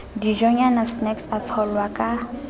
dijonyana snacks a tsholwa ka